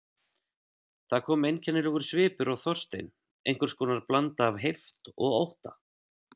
Það kom einkennilegur svipur á Þorstein, einhvers konar blanda af heift og ótta.